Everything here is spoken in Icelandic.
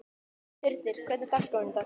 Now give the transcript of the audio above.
Þyrnir, hvernig er dagskráin í dag?